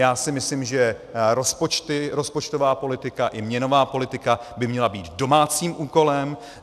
Já si myslím, že rozpočtová politika i měnová politika by měla být domácím úkolem.